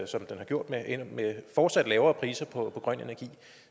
som den har gjort med fortsat lavere priser på grøn energi